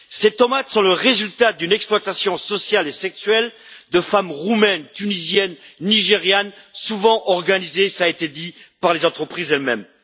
Ces tomates sont le résultat d'une exploitation sociale et sexuelle de femmes roumaines, tunisiennes, nigérianes, souvent organisée cela a été dit par les entreprises elles mêmes.